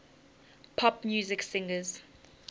pop music singers